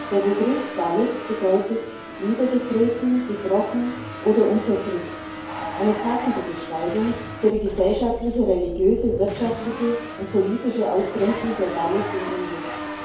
Der Begriff Dalit bedeutet niedergetreten, gebrochen oder unterdrückt eine passende Beschreibung für die gesellschaftliche, religiöse, wirtschaftliche und politische Ausgrenzung der Dalits in Indien.